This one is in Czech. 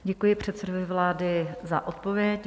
Děkuji předsedovi vlády za odpověď.